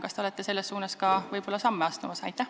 Kas te olete selles suunas samme astumas?